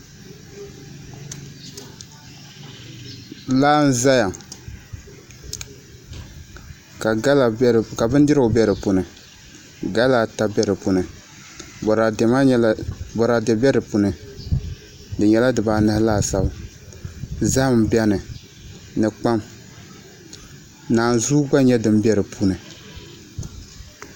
Laa n ʒɛya ka bindirigu bɛ di puuni gala ata bɛ dinni boraadɛ bɛ di puuni di nyɛla dibaanahi laasabu zaham bɛni ni kpam naanzuu gba nyɛ din bɛ di puuni